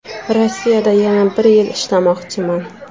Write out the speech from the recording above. Rossiyada yana bir yil ishlamoqchiman.